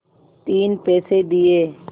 तीन पैसे दिए